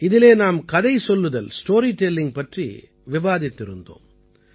இதிலே நாம் கதை சொல்லுதல் ஸ்டோரி டெல்லிங் பற்றி விவாதித்திருந்தோம்